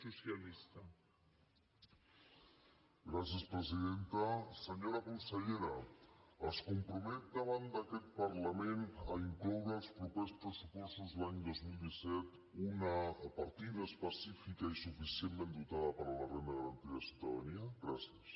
senyora consellera es compromet davant d’aquest parlament a incloure als propers pressupostos l’any dos mil disset una partida específica i suficientment dotada per a la renda garantida de ciutadania gràcies